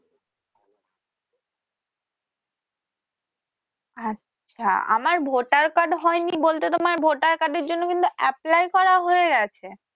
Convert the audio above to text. আচ্ছা আমার Voter Card হয়নি বলতে তোমার Voter Card এর জন্য কিন্তু apply করা হয়ে গেছে